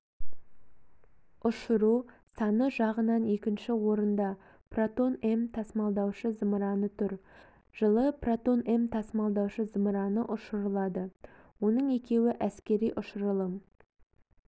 ұшыру саны жағынан екінші орында протон-м тасымалдаушы-зымыраны тұр жылы протон-м тасымалдаушы-зымыраны ұшырылады оның екеуі әскери ұшырылым